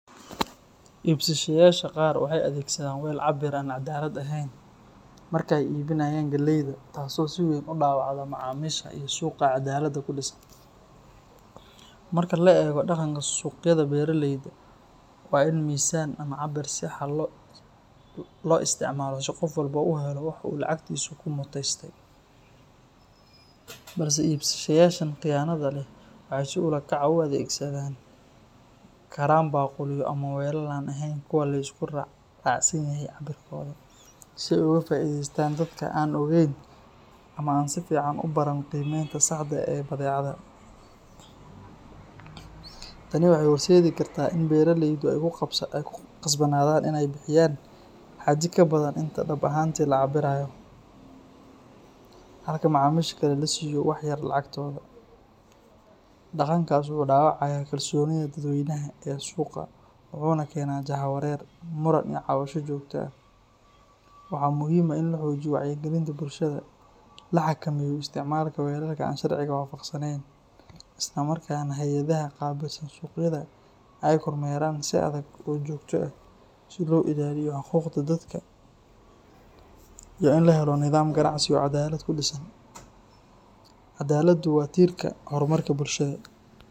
Ibsisheyaasha qaar waxay adeegsadaan well cabbir aan cadaalad ahayn marka ay iibinayaan galeyda, taasoo si weyn u dhaawacda macaamiisha iyo suuqa caddaaladda ku dhisan. Marka la eego dhaqanka suuqyada beeraleyda, waa in miisaan ama cabbir sax ah loo isticmaalaa si qof walba u helo waxa uu lacagtiisa ku mutaystay, balse ibsisheyaashan khiyaanada leh waxay si ula kac ah u adeegsan karaan baaquliyo ama weelal aan ahayn kuwa la isku raacsan yahay cabbirkooda, si ay uga faa'iidaystaan dadka aan ogayn ama aan si fiican u baran qiimeynta saxda ah ee badeecada. Tani waxay horseedi kartaa in beeraleydu ay ku qasbanaadaan inay bixiyaan xaddi ka badan inta dhab ahaantii la cabbirayo, halka macaamiisha kale la siiyo wax ka yar lacagtooda. Dhaqankaas wuxuu dhaawacayaa kalsoonida dadweynaha ee suuqa wuxuuna keenaa jahwareer, muran iyo cabasho joogto ah. Waxaa muhiim ah in la xoojiyo wacyigelinta bulshada, la xakameeyo isticmaalka weelalka aan sharciga waafaqsanayn, isla markaana hay’adaha qaabilsan suuqyada ay kormeeraan si adag oo joogto ah si loo ilaaliyo xuquuqda dadka iyo in la helo nidaam ganacsi oo caddaalad ku dhisan. Caddaaladdu waa tiirka horumarka bulshada.